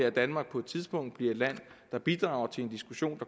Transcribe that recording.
at danmark på et tidspunkt bliver et land der bidrager til en diskussion